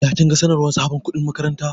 Ya kinga sanarwar sabon kuɗin makaranta?